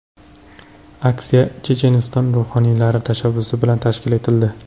Aksiya Checheniston ruhoniylari tashabbusi bilan tashkil etildi.